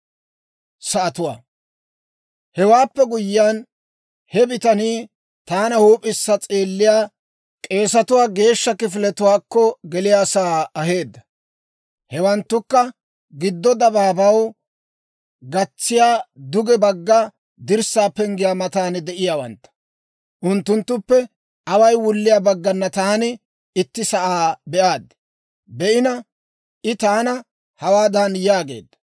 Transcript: Hewaappe guyyiyaan, he bitanii taana huup'issa s'eelliyaa, k'eesetuwaa geeshsha kifiletuwaakko geliyaasaa aheedda. Hewanttukka giddo dabaabaw gatsiyaa duge bagga dirssaa penggiyaa matan de'iyaawantta. Unttunttuppe away wulliyaa bagganna taani itti sa'aa be'aaddi. I taana hawaadan yaageedda;